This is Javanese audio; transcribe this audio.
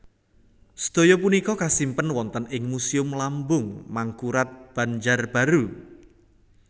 Sadaya punika kasimpen wonten ing Museum Lambung Mangkurat Banjarbaru